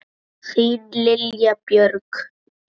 Þín Lilja Björg.